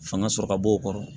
Fanga sɔrɔ ka bɔ o kɔrɔ